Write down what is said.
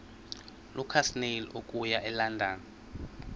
lukasnail okuya elondon